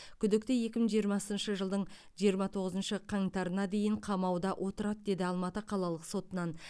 күдікті екі мың жиырмасыншы жылдың жиырма тоғызыншы қаңтарына дейін қамауда отырады деді алматы қалалық сотынан